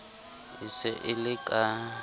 e se e le ka